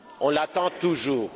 On l'attend toujours.